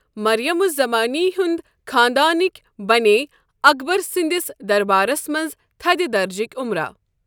مریم الزمانی ہٕنٛد خاندانٕکۍ بنیٛیہ اکبر سٕنٛدِس دربارس منٛز تھدِ درجٕكۍ عمرا۔